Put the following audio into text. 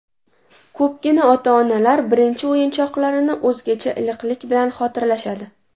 Ko‘pgina ota-onalar birinchi o‘yinchoqlarini o‘zgacha iliqlik bilan xotirlashadi.